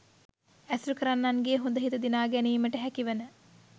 ඇසුරු කරන්නන්ගේ හොඳ හිත දිනාගැනීමට හැකිවන